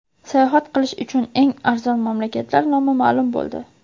Sayohat qilish uchun eng arzon mamlakatlar nomi ma’lum bo‘ldi.